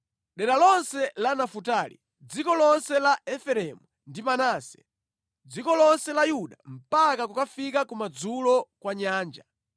Dera lonse la Nafutali, dziko lonse la Efereimu ndi Manase, dziko lonse la Yuda mpaka kukafika kumadzulo kwa nyanja,